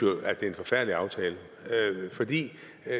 er en forfærdelig aftale fordi